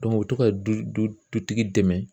u bɛ to ka du du du dutigi dɛmɛ